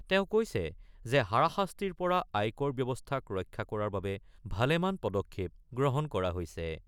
তেওঁ কৈছে যে হাৰাশাস্তিৰ পৰা আয়কৰ ব্যৱস্থাক ৰক্ষা কৰাৰ বাবে ভালেমান পদক্ষেপ গ্ৰহণ কৰা হৈছে।